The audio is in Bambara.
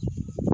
Sanunɛgɛnin